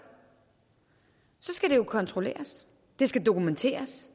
skal det kontrolleres det skal dokumenteres